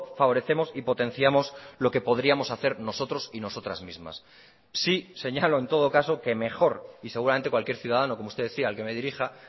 favorecemos y potenciamos lo que podríamos hacer nosotros y nosotras mismas sí señalo en todo caso que mejor y seguramente cualquier ciudadano como usted decía el que me dirija